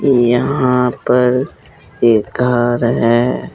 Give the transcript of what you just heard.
यहां पर एक घर है।